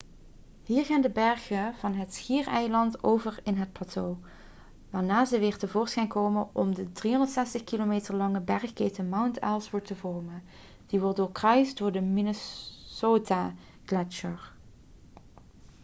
hier gaan de bergen van het schiereiland over in het plateau waarna ze weer tevoorschijn komen om de 360 km lange bergketen mount ellsworth te vormen die wordt doorkruist door de minnesotagletsjer